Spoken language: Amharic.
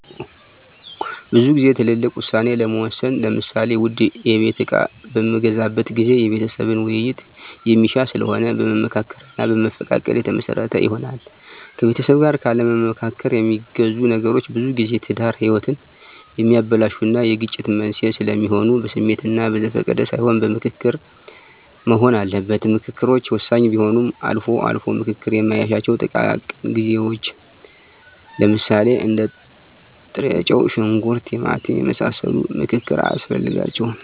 ብዙ ግዜ ትልልቅ ውሳኔ ለመወሰን ለምሳሌ ውድ የቤት እቃ በምገዛበት ጊዜ የቤተሰብን ዉይይት የሚሻ ስለሆነ በመመካከር እና በመፈቃቀድ የተመሰረተ ይሆናል። ከቤተሰብ ጋር ካለማማከር የሚገዙ ነገሮች ብዙጊዜ የትዳር ህይወትን የሚያበላሹ እና የግጭት መንስዔ ስለሚሆኑ በስሜት እና በዘፈቀደ ሳይሆን በምክክር መሆን አለበት። ምከክሮች ወሳኝ ቢሆንም አልፎ አልፎ ምክክር ማይሻቸው ጥቃቅን ግዢዎች ለምሳሌ እንደ ጥሬጨው; ሽንኩርት; ቲማቲም የመሳሰሉ ምክክር አያስፈልጋቸውም።